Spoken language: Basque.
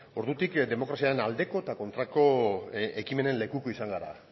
ordutik demokraziaren aldeko eta kontrako ekimenen lekuko izan gara